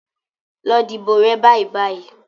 Lọ dìbò rẹ bàìbàì.